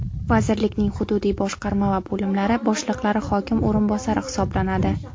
Vazirlikning hududiy boshqarma va bo‘limlari boshliqlari hokim o‘rinbosari hisoblanadi.